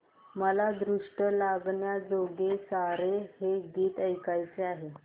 मला दृष्ट लागण्याजोगे सारे हे गीत ऐकायचे आहे